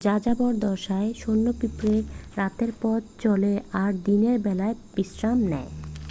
যাযাবর দশায় সৈন্য পিঁপড়ে রাতে পথ চলে আর দিনের বেলায় বিশ্রাম নেয়